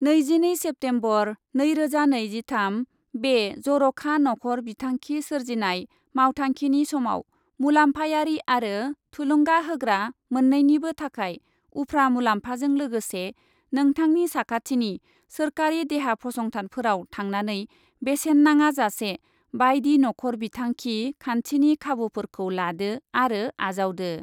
नैजिनै सेप्तेम्बर, नैरोजा नैजिथाम, बे जर'खा नखर बिथांखि सोरजिनाय मावथांखिनि समाव मुलाम्फायारि आरो थुलुंगा होग्रा मोननैनिबो थाखाय उफ्रा मुलाम्फाजों लोगोसे नोंथांनि साखाथिनि सोरखारि देहा फसंथानफोराव थांनानै बेसेन नाङा जासे बायदि नखर बिथांखि खान्थिनि खाबुफोरखौ लादो आरो आजावदो।